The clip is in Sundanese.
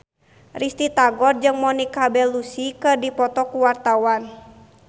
Risty Tagor jeung Monica Belluci keur dipoto ku wartawan